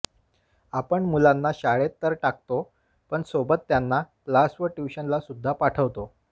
आपण मुलांना शाळेत तर टाकतो पण सोबत त्यांना क्लास व ट्युशनला सुद्धा पाठवतो